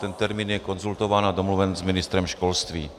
Ten termín je konzultován a domluven s ministrem školství.